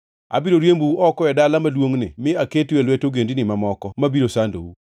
Abiro riembou oko e dala maduongʼni mi aketu e lwet ogendini mamoko mabiro sandou.